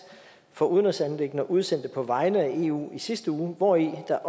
for udenrigsanliggender og sikkerhedspolitik udsendte på vegne af eu i sidste uge og hvori der